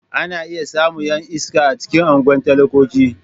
Ana iya samun 'yan iska a cikin unguwan talakoki.